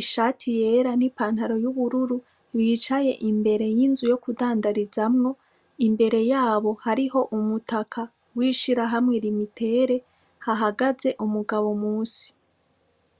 ishati yera n'ipantaro y'ubururu, bicaye imbere y'inzu yo kudandarizamwo, imbere yabo hariho umutaka w'ishirahamwe Lumitel, hahagaze umugabo munsi.